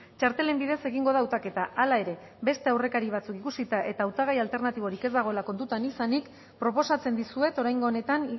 txartelen bidez egingo da hautaketa hala ere beste aurrekari batzuk ikusita eta hautagai alternatiborik ez dagoela kontutan izanik proposatzen dizuet oraingo honetan